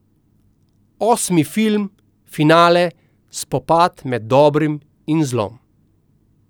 Osmi film, finale, spopad med dobrim in zlom.